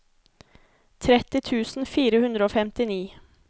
tretti tusen fire hundre og femtini